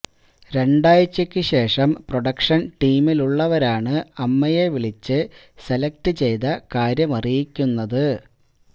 രണ്ടാഴ്ചയ്ക്കുശേഷം പ്രൊഡക്ഷന് ടീമിലുള്ളവരാണ് അമ്മയെ വിളിച്ച് സെലക്ട് ചെയ്ത കാര്യമറിയിക്കു ന്നത്